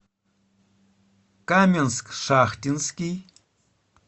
каменск шахтинский